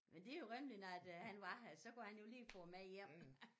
Men det jo rimeligt når at øh han var her så kunne han jo lige få det med hjem